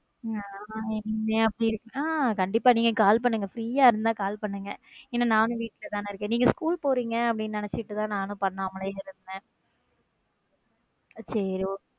கண்டிப்பா நீங்க call பண்ணுங்க free யா இருந்தா call பண்ணுங்க ஏன்னா நானும் வீட்லதான் இருக்கேன் நீங்க school போறீங்க நினைச்சேன் அதான் நானும் பண்ணாமலே இருந்தேன சரி okay